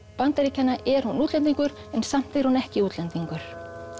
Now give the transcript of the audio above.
Bandaríkjanna er hún útlendingur en samt er hún ekki útlendingur